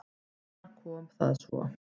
Þar kom það svo!